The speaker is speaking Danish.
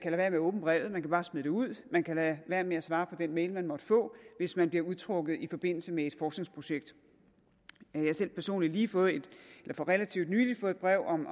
med at åbne brevet man kan bare smide det ud man kan lade være med at svare på den mail man måtte få hvis man bliver udtrukket i forbindelse med et forskningsprojekt jeg har selv personligt for relativt nylig fået et brev om